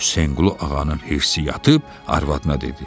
Hüseynqulu ağanın hirsi yatıb arvadına dedi: